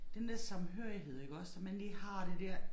Den der samhørighed iggås som man lige har det der